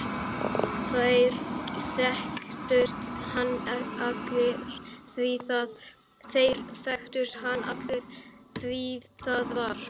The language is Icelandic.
Þeir þekktu hann allir því það var